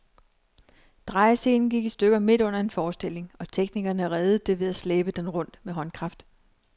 Drejescenen gik i stykker midt under en forestilling, og teknikerne reddede det ved at slæbe den rundt med håndkraft.